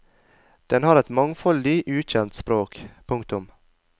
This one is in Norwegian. Den har et mangfoldig ukjent språk. punktum